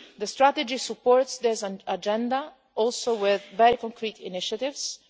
June. The strategy supports this agenda with very concrete initiatives